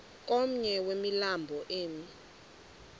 komnye wemilambo emi